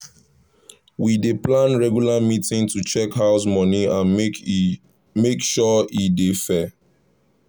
we dey plan regular meeting to check house money and make sure e dey fair.